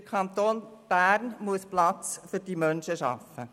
Der Kanton Bern muss Platz für diese Menschen schaffen.